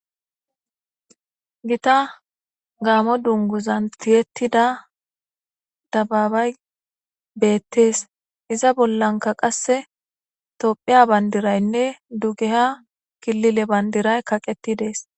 Gita gaamo dunguzan tiyettida dababay beettees iza bollanka qasse tophiya bayndiraynne dugeha kilile bandiray kaqettidees.